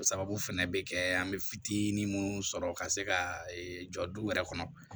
O sababu fɛnɛ bɛ kɛ an bɛ fitinin minnu sɔrɔ ka se ka jɔ du wɛrɛ kɔnɔ